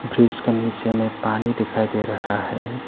जो इसके नीचे में पानी दिखाई दे रहा है।